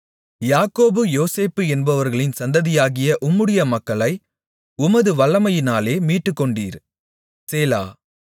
யாக்கோபு யோசேப்பு என்பவர்களின் சந்ததியாகிய உம்முடைய மக்களை உமது வல்லமையினாலே மீட்டுக்கொண்டீர் சேலா